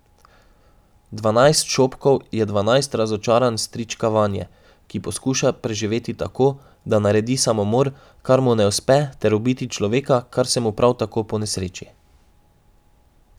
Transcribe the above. Dvanajst šopkov je dvanajst razočaranj strička Vanje, ki poskuša preživeti tako, da naredi samomor, kar mu ne uspe, ter ubiti človeka, kar se mu prav tako ponesreči.